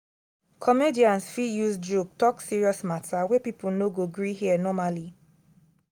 comedians fit use joke talk serious matter wey people no go gree hear normally.